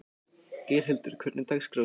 Geirhildur, hvernig er dagskráin í dag?